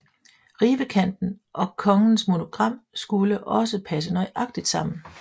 Rivekanten og kongens monogram skulle også passe nøjagtigt sammen